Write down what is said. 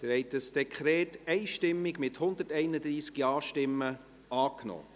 Sie haben das Dekret einstimmig angenommen, mit 131 Ja- gegen 0 Nein-Stimmen bei 0 Enthaltungen.